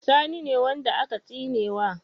Sani ne wanda aka tsinewa?